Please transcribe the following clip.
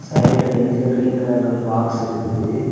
சைடுல பெஞ்சில கிரீன் கலர்ல ஒரு பாக்ஸ் இருக்குது.